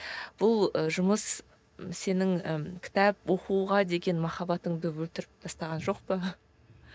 бұл і жұмыс сенің і кітап оқуға деген махаббатыңды өлтіріп тастаған жоқ па